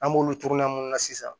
An b'olu turu munnu na sisan